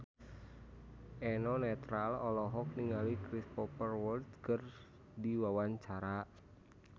Eno Netral olohok ningali Cristhoper Waltz keur diwawancara